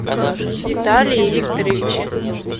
виталии викторовиче